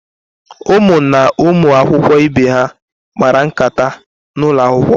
Ụmụ na ụmụ akwụkwọ ibe kpara nkata n'ụlọ akwụkwọ.